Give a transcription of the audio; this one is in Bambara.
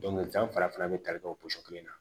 Dɔnkili da fana bɛ tali kɛ o kelen na